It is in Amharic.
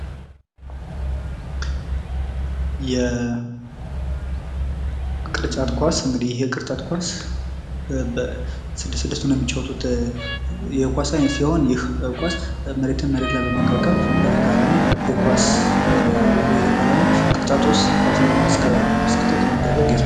"የቅርጫት ኳስ:- እንግዲህ ይህ የቅርጫት ኳስ በስድስት ስድስት ሆነው የሚጫወቱት የኳስ አይነት ስለሆነ፣ ይህ ኳስ መሬትን መሬት ላይ በማንቀብቀብ በተቃራኒ የኳስ የተቃራኒ ቅርጫት ውስጥ ኳስ በማስከተት የሚደረግ የስፖ..."